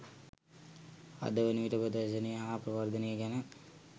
අද වනවිට ප්‍රදර්ශනය හා ප්‍රවර්ධනය ගැන